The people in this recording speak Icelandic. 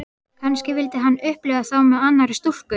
Kannski vildi hann upplifa þá með annarri stúlku.